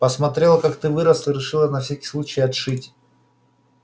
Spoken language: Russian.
посмотрела как ты вырос и решила на всякий случай отшить